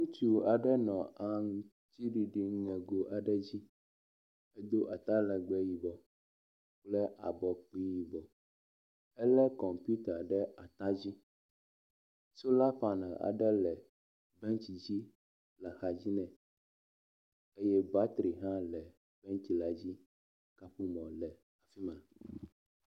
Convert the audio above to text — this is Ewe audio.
Ŋutsu aɖe nɔ aŋtsiɖiɖi ŋego aɖe dzdi do atalegbe yibɔ kple abɔkpi yibɔ ele kɔmpita ɖe at dzi. Sola panel aɖe le bentsi dzi le axa dzi nɛ eye batri hã le bentsi la dzi. Kaƒomɔ le eme.